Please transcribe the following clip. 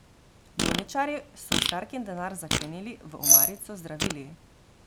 Bolničarji so starkin denar zaklenili v omarico z zdravili.